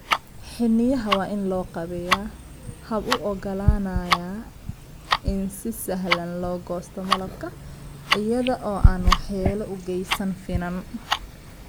Xiniinyaha waa in loo qaabeeyaa hab u oggolaanaya in si sahlan loo goosto malabka iyada oo aan waxyeello u geysan finan.